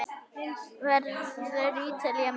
Verður Ítalía með?